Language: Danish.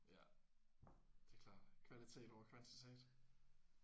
Ja det er klart kvalitet over kvantitet